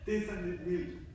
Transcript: Det sådan lidt vildt